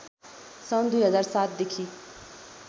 सन् २००७ देखि